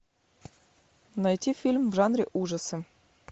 найти фильм в жанре ужасы